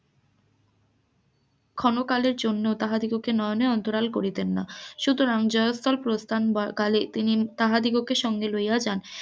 ক্ষণকালের জন্য তাহাদিগকে নয়নের অন্তরাল করিতেন না, সুতরাং জয়স্থল প্রস্থানকালে তিনি তাহাদিগকে সঙ্গে লইয়া যান,